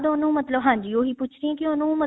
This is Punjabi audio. ਉਹਨੂੰ ਮਤਲਬ ਹਾਂਜੀ ਉਹੀ ਪੁੱਛ ਰਹੀ ਹਾਂ ਕੀ ਉਹਨੂੰ ਮਤਲਬ